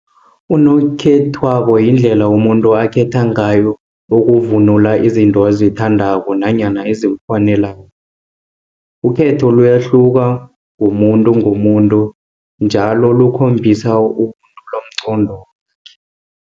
Unokhethwako yindlela umuntu akhethe ngayo ukuvunula izinto azithandako, nanyana ezimfaneleko. Ukhetho liyahluka ngomuntu, ngomuntu njalo likhombisa